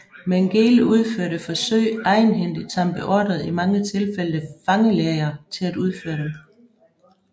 Mengele udførte forsøg egenhændigt samt beordrede i mange tilfælde fangelæger til at udføre dem